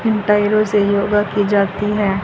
पैरों से योगा की जाती है।